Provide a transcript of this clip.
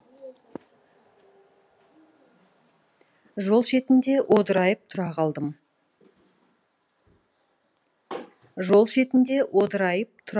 жол шетінде одырайып тұра қалдым